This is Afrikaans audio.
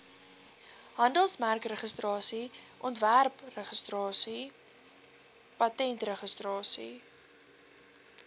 handelsmerkregistrasie ontwerpregistrasie patentregistrasie